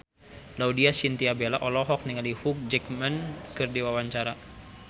Laudya Chintya Bella olohok ningali Hugh Jackman keur diwawancara